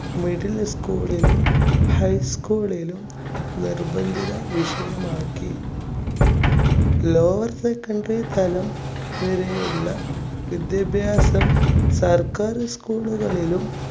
middle school ലും high school ളിലും നിർബന്ധിത വിഷയമാക്കി. lower secondary തലം വരെയുള്ള വിദ്യാഭ്യാസം സർക്കാർ school കളിലും